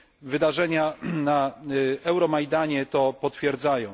Wydarzenia na Euromajdanie to potwierdzają.